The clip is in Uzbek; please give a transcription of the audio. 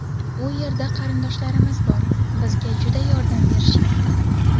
U yerda qarindoshlarimiz bor, bizga juda yordam berishyapti.